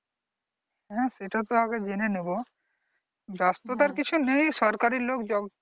হ্যাঁ সেটা তো আগে জেনে নেব, ব্যস্ততার কিছু নেই সরকারি লোক